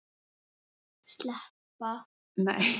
Elsku Halli minn.